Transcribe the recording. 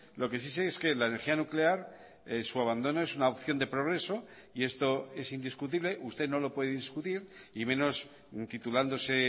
lo que sí sé es que la energía nuclear su abandono es una opción de progreso y esto es indiscutible usted no lo puede discutir y menos titulándose